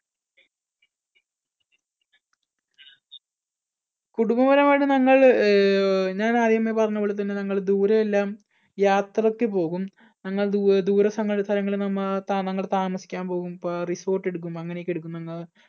കുടുംബപരമായിട്ട് നമ്മൾ ആഹ് ഞാൻ ആദ്യമേ പറഞ്ഞപോലെതന്നെ നമ്മൾ ദൂരെയെല്ലാം യാത്രയ്ക്ക് പോകും. ഞങ്ങള്‍ ദൂര ദൂരസ്ഥലങ്ങളിൽ നമ്മ നമ്മൾ താമസിക്കാൻ പോകും resort എടുക്കും അങ്ങനെ ഒക്കെ എടുക്കും നമ്മ